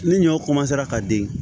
Ni ɲɔw ka den